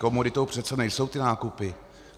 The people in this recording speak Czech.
Komoditou přece nejsou ty nákupy.